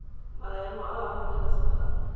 maemo a a amogelesegang a